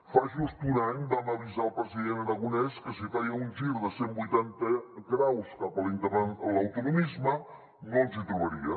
fa just un any vam avisar el president aragonès que si feia un gir de cent vuitanta graus cap a l’autonomisme no ens hi trobaria